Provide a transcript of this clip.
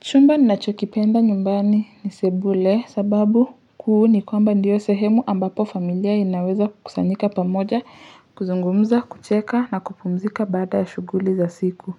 Chumba ninachokipenda nyumbani ni sebule sababu kuu ni kwamba ndiyo sehemu ambapo familia inaweza kukusanyika pamoja kuzungumza kucheka na kupumzika baada ya shughuli za siku.